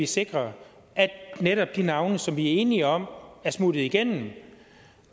sikre at netop de navne som vi er enige om er smuttet igennem og